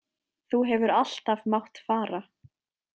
Þú hefur alltaf mátt fara.